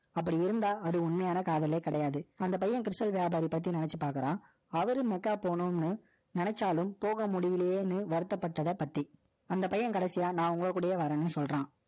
அப்படி இருந்தா, அது உண்மையான காதலே கிடையாது. அந்த பையன், கிருஷ்ணன் வியாபாரி பத்தி நினைச்சு பார்க்கிறான் அவரு மெக்கா போணும்ன்னு, நினைச்சாலும், போக முடியலயேன்னு, வருத்தப்பட்டதை பத்தி. அந்த பையன், கடைசியா, நான், உங்க கூடயே, வர்றேன்னு, சொல்றான்.